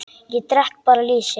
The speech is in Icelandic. Ég drekk bara lýsi!